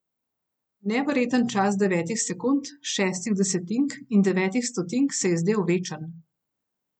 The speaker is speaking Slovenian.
Neverjeten čas devetih sekund, šestih desetink in devetih stotink se je zdel večen.